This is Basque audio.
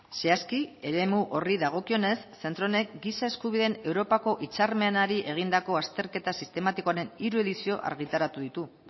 zehazki eremu horri dagokionez zentro honek giza eskubideen europako hitzarmenari egindako azterketa sistematikoaren hiru edizio argitaratu ditu